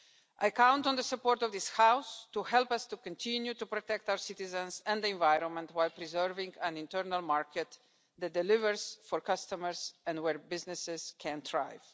I count on the support of this House to help us to continue to protect our citizens and the environment while preserving an internal market that delivers for customers and where businesses can thrive.